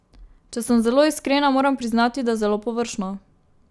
Če sem zelo iskrena, moram priznati, da zelo površno.